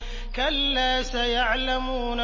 كَلَّا سَيَعْلَمُونَ